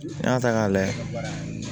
N'i y'a ta k'a layɛ